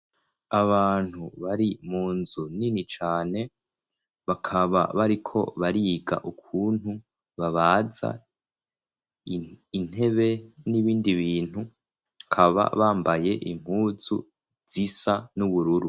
Abantu bari mu nzu nini cane bakaba bariko bariga ukuntu babaza intebe n'ibindi bintu akaba bambaye impuzu zisa n'ubururu.